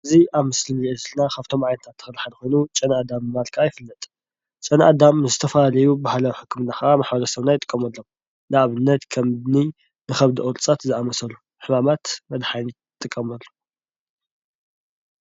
እዚ ኣብ ምስሊ እንሪኦ ዘለና ካብቶም ዓይነታት ተኽሊ ሓደ ኮይኑ ጨና ኣዳም ብምባል ከዓ ይፍለጥ ። ጨና ኣዳም ንዝተፈላለዩ ባህላዊ ሕክምና ከዓ ማሕበረሰብና ይጥቀመሎም። ንኣብነት ከምኒ ብከብዲ ቁርፀት ዝኣምሰሉ ሕማማት መድሓኒት ይጥቀመሉ።